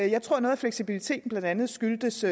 jeg tror at noget af fleksibiliteten blandt andet skyldtes